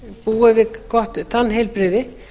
búi við gott tannheilbrigði